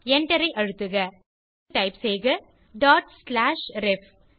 எண்டரை அழுத்துக இப்போது டைப் செய்க டாட் ஸ்லாஷ் ரெஃப்